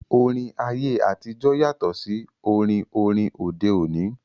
Orin ayé àtijọ́ yàtọ̀ sí orin orin òde òní